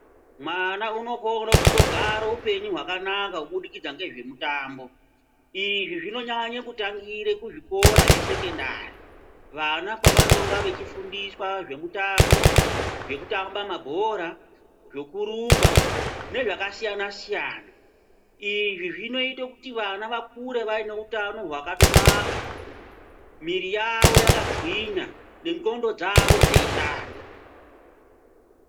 Mwana unokona kugara upenyu wakanaka kubudikidza nezvemutambo izvi zvinonyanya kutangira kuzvikora zvesekondari vana kwavanenge veifundiswa zvemutombo zvekutamba mabhora zvekurumba nezvakasiyana siyana izvi zvinoita kuti vana vakure vane utano hwakanaka muiri yavo vakagwinya nendxondo dzavo dzeishanda.